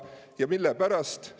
Ja mille pärast?